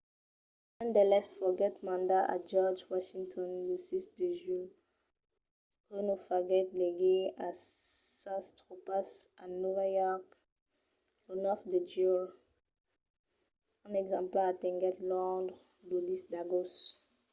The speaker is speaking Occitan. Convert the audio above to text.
un d'eles foguèt mandat a george washington lo 6 de julh que lo faguèt legir a sas tropas a nòva york lo 9 de juilh. un exemplar atenguèt londres lo 10 d'agost